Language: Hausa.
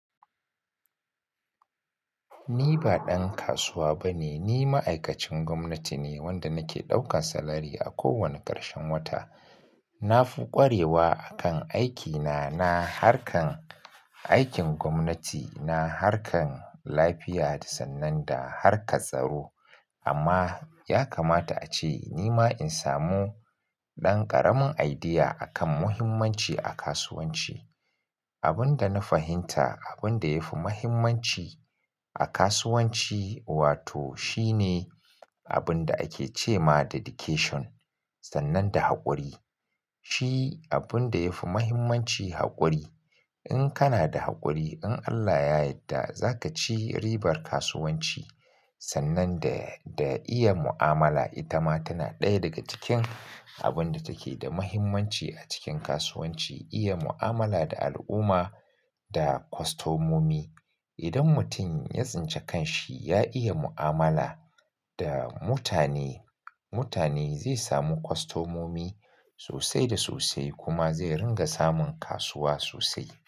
Ni ba dan kasuwa bane, ni ma'aikacin gwamnati ne wanda nake ɗaukan salari a kowane ƙarshen wata. Na fi ƙwarewa a kan aikina, na harkan aikin gwamnati, na harkan lafiya sannan da harka tsaro. Amma ya kamata ace ni ma in samu ɗan ƙaramin idea a kan muhimmanci a kasuwanci. Abin da na fahimta, abin da yafi muhimmanci a kasuwanci, wato shine abin da ake ce ma dedication sannan da haƙuri. Shi abin da yafi muhimmanci haƙuri. In kana da haƙuri, in Allah ya yadda zaka ci ribar kasuwanci sannan da, da iya mu'amala. Ita ma tana ɗaya daga cikin abinda take da muhimmanci a cikin kasuwanci, iya mu'amala da al'umma da kostomomi. Idan mutum ya tsince kan shi, ya iya mu'amala da mutane, mutane zai samu kostomomi sosai da sosai kuma zai ringa samun kasuwa sosai.